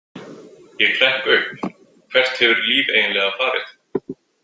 Ég hrekk upp, hvert hefur Líf eiginlega farið?